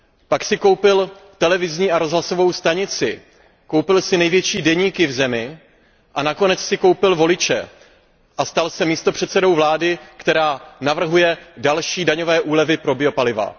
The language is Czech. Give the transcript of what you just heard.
Pak si koupil televizní a rozhlasovou stanici, koupil si největší deníky v zemi a nakonec si koupil voliče a stal se místopředsedou vlády, která navrhuje další daňové úlevy pro biopaliva.